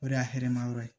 O de y'a hɛrɛ ma yɔrɔ ye